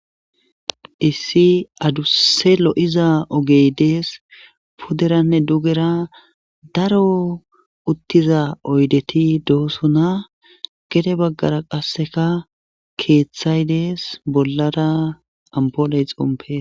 issi adusse lo7iza ogey dees puderanne dugera daro uttiza oydeti dohosona gede baggara qasseka keeththay dees bollada ampoley xompe